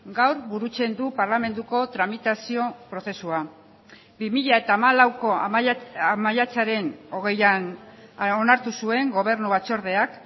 gaur burutzen du parlamentuko tramitazio prozesua bi mila hamalauko maiatzaren hogeian onartu zuen gobernu batzordeak